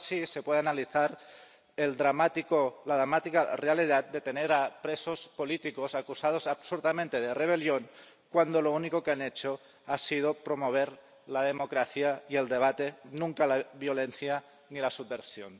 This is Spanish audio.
Solo así se puede analizar la dramática realidad de tener a presos políticos acusados absurdamente de rebelión, cuando lo único que han hecho ha sido promover la democracia y el debate, nunca la violencia ni la subversión.